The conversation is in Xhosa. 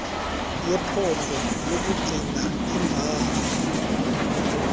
yephondo yokugcina iimbalo